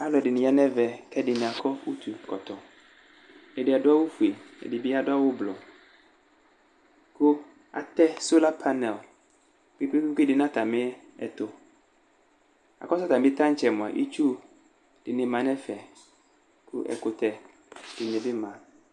Alʋ ɛdɩnɩ ya nʋ ɛvɛ, kʋ ɛdɩ akɔ utukɔtɔ, ɛdɩ adʋ awʋ fue, ɛdɩ bɩ adʋ awʋ blɔ, kʋ atɛ sola panɛl kpe-kpe dɩ bɩ nʋ atamɩ ɛtʋ, la kʋ atamɩ taŋtsɛ mʋa, itsu dɩnɩ ma nʋ ɛfɛ, kʋ ɛkʋtɛ dɩnɩ bɩ ma